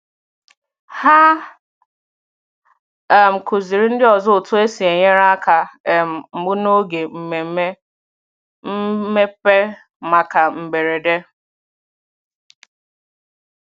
Hà um kụzìrì ndị ọzọ otú e si enyere aka um mbụ n’oge mmemme mmepe maka mberede.